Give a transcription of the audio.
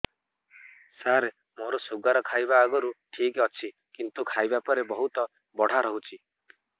ସାର ମୋର ଶୁଗାର ଖାଇବା ଆଗରୁ ଠିକ ଅଛି କିନ୍ତୁ ଖାଇବା ପରେ ବହୁତ ବଢ଼ା ରହୁଛି